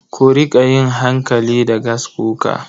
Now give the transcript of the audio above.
Ku riƙa yin hankali da gaskuka.